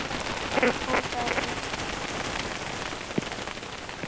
Hún sagði